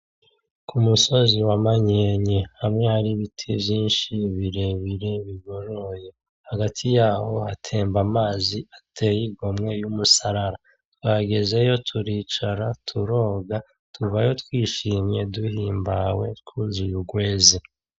K'umusozi wa manyenye hamwe har'ibiti vyinshi birebire bigoroye, hagati yaho hatemba amazi ateye igomwe y'umusarara, twagezeyo turicara turonga tuvayo twinshimye duhimbawe twuzuye urwenze.